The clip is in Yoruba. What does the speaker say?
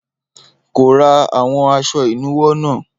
Kò ra àwọn aṣọ ìnuwọ́ náà.